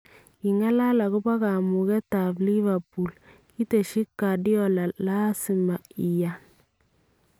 Kingalal akobo kamugetab Liverpool, kitesyi Guardiola "Laasima iyaan" .